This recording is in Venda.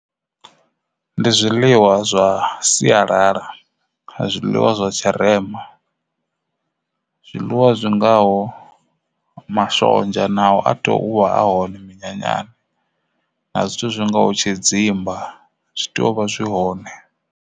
Ndi zwiḽiwa zwa sialala a zwiḽiwa zwa tshirema zwiḽiwa zwi ngaho mashonzha nao a tea uvha a hone minyanyani na zwithu zwi ngaho tshidzimba zwi tea uvha zwi hone.